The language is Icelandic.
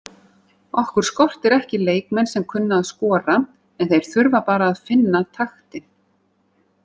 Okkur skortir ekki leikmenn sem kunna að skora en þeir þurfa bara að finna taktinn.